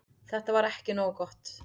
Þetta var ekki nógu gott.